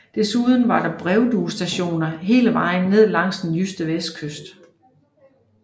Desuden var der brevduestationer hele vejen ned langs den jyske vestkyst